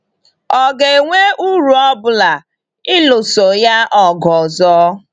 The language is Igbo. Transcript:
Ọ̀ ga-enwe uru ọ bụla ịlụso ya ọgụ ọzọ?